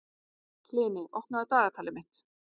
Hlini, opnaðu dagatalið mitt.